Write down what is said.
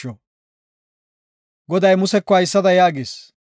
Goday Museko haysada yaagis;